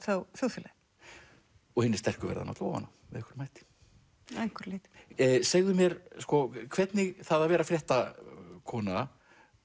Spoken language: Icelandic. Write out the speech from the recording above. þá þjóðfélagið og hinir sterku verða náttúrulega ofan á með einhverjum hætti að einhverju leyti segðu mér hvernig það að vera fréttakona